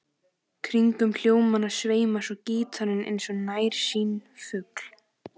Kringum hljómana sveimar svo gítarinn eins og nærsýnn fugl.